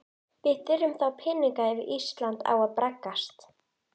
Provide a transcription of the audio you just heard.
Steinninn er linur, álíka og mjúkur hverfisteinn en eitlarnir allharðir.